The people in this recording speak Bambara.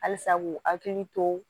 Halisa k'u hakili to